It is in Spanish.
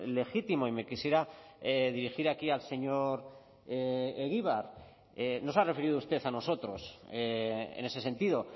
legítimo y me quisiera dirigir aquí al señor egibar no se ha referido usted a nosotros en ese sentido